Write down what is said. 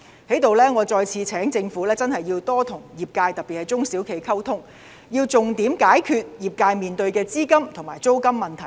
我在這裏再次促請政府多跟業界，特別是中小企溝通，要重點解決業界面對的資金和租金問題。